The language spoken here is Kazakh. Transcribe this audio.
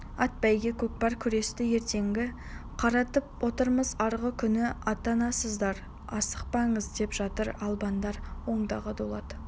ат бәйге көкпар күресті ертеңге қаратып отырмыз арғы күні аттанасыздар асықпаңыз деп жатыр албандар ондағы дулат